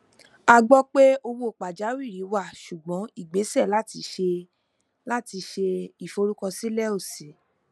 a gbọ pé owó pajawìrì wà ṣùgbọn igbese lati ṣe lati ṣe iforukọsilẹ o ṣi